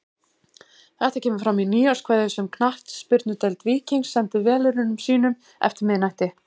Þetta kemur fram í nýárskveðju sem Knattspyrnudeild Víkings sendi velunnurum sínum eftir miðnætti.